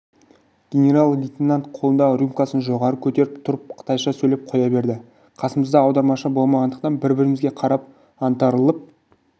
генерал-лейтенант қолындағы рюмкасын жоғары көтеріп тұрып қытайша сөйлеп қоя берді қасымызда аудармашы болмағандықтан бір-бірімізге қарап аңтарылып